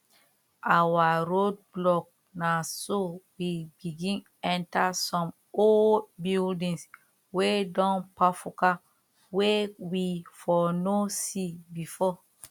our road block na so we begin enter some old buildins wey don kpafuka wey we for no see before